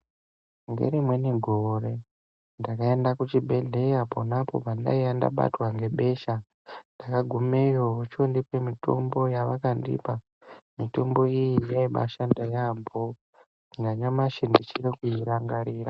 Ngerimweni gore ndakaenda kuchibhedhlera pona apo ndanga ndabatwa nebesha ndakagumeyo vochondipa mitombo yavakandipa mitombo ye yaibashanda yambo nanyamashi ndichiri kuirangarira.